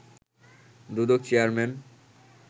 Dudok chairman